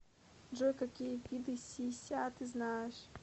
джой какие виды си ся ты знаешь